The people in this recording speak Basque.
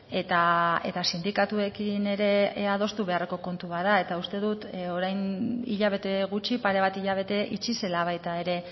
eta sindikatuekin ere adostu beharreko kontu bat da eta uste dut orain hilabete gutxi pare bat hilabete itxi zela baita ere